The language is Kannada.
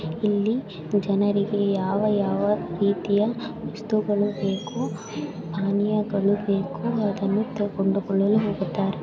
ಇಲ್ಲಿ ಜನರಿಗೆ ಯಾವ ಯಾವ ರೀತಿಯ ವಸ್ತುಗಳು ಬೇಕು ಪಾನಿಯಗಳು ಬೇಕು ಅದನ್ನು ತೊಗೊಂಡು ಹೋಗಲು ಹೋಗುತಾರೆ.